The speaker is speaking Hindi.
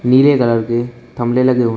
पीले कलर के थमले लगे हुए हैं।